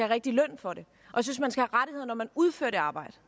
rigtig løn for det og når man udfører det arbejde